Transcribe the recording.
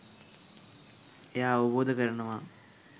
එයා අවබෝධ කරනවා